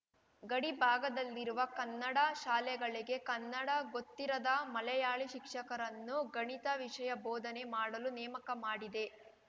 ಗಡಿ ಭಾಗದಲ್ಲಿರುವ ಕನ್ನಡ ಶಾಲೆಗಳಿಗೆ ಕನ್ನಡ ಗೊತ್ತಿರದ ಮಲೆಯಾಳಿ ಶಿಕ್ಷಕರನ್ನು ಗಣಿತ ವಿಷಯ ಬೋಧನೆ ಮಾಡಲು ನೇಮಕ ಮಾಡಿದೆ